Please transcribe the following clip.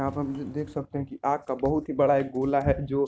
आप अभी देख सकते है कि आग का बहुत ही बड़ा एक गोला है जो --